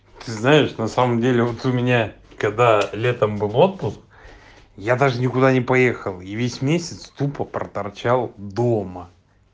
ты знаешь на самом деле вот у меня когда летом был отпуск я даже никуда не поехал и весь месяц тупо проторчал дома